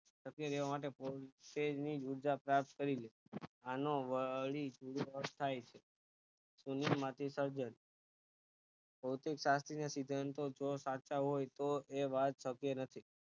પ્રક્રિયા માટે ની ઉર્જા પ્રાપ્ત કરી આનો આસ્થાઈ છે શૂન્ય માંથી સર્જન ભોતિક શાસ્ત્રી ને સિદ્ધવનતો જો સાચા હોય તો એ વાત સત્ય નથી